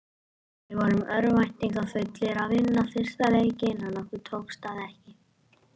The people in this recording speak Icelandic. Við vorum örvæntingarfullir að vinna fyrsta leikinn en okkur tókst það ekki.